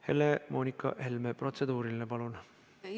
Helle-Moonika Helme, protseduuriline, palun!